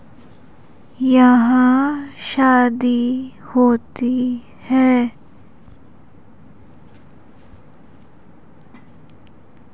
यहां शादी होती है।